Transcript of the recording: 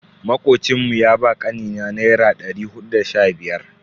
Makocin mu ya ba kanina naira dari hudu da sha biyar.